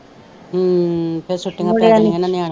ਹਮ ਫਿਰ ਛੁੱਟੀਆਂ ਪੈ ਜਾਣੀਆ ਨਾ ਨਿਆਣਿਆਂ ਨੂੰ